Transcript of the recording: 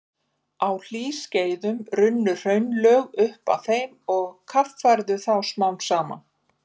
Á hlýskeiðum runnu hraunlög upp að þeim og kaffærðu þá smám saman.